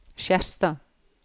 Skjerstad